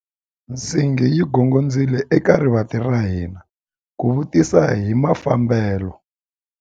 Nsingi yi gongondzile eka rivanti ra hina ku vutisa hi mafambelo.